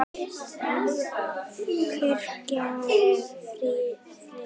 Kirkjan er friðuð.